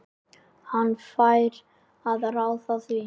Hann fær að ráða því.